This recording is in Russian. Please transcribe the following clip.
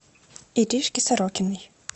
иришке сорокиной